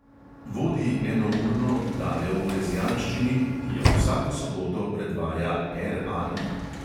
Vodi enourno oddajo v rezijanščini, ki jo vsako soboto predvaja RAI.